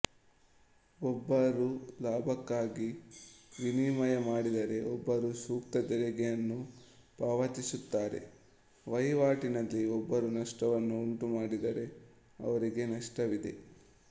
ಒಬ್ಬರು ಲಾಭಕ್ಕಾಗಿ ವಿನಿಮಯ ಮಾಡಿದರೆ ಒಬ್ಬರು ಸೂಕ್ತ ತೆರಿಗೆಯನ್ನು ಪಾವತಿಸುತ್ತಾರೆ ವಹಿವಾಟಿನಲ್ಲಿ ಒಬ್ಬರು ನಷ್ಟವನ್ನು ಉಂಟುಮಾಡಿದರೆ ಅವರಿಗೆ ನಷ್ಟವಿದೆ